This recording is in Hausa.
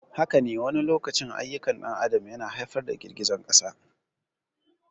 Haka ne, wani lokacin ayyukan ɗan adam yana haifar da girgizar ƙasa.